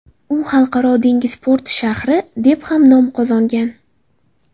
U xalqaro dengiz porti shahri, deb ham nom qozongan.